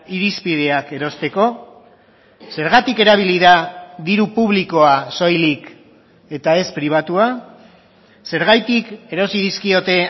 irizpideak erosteko zergatik erabili da diru publikoa soilik eta ez pribatua zergatik erosi dizkiote